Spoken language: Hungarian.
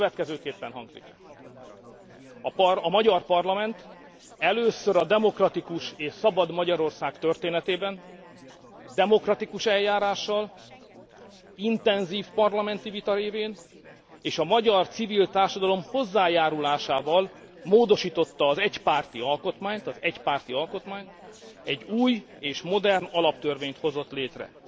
Következőképpen hangzik a magyar parlament először a demokratikus és szabad Magyarország történetében demokratikus eljárással, intenzív parlamenti vita révén, és a magyar civil társadalom hozzájárulásával módosította az egypárti alkotmányt, egy új és modern alaptörvényt hozott létre.